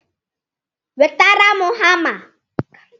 Wetara m hama!